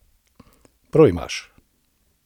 Prav imaš!